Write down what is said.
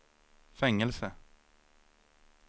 fängelse